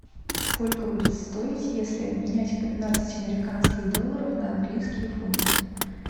сколько будет стоить если обменять пятнадцать американских долларов на английские фунты